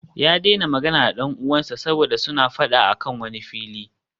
Ya daina magana da dan uwansa saboda suna fada a kan wani fili